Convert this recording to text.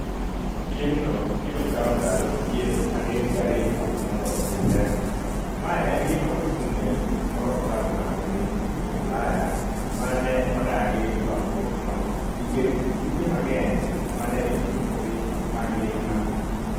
Piemno biro kawo ndalo piero adek gariyo mondo otimre, ma en gima ochung’ne moro klab mag piny Ulaya ma ne odagi lokruokno nikech tuke mang’eny ma ne itimo e piny mangima.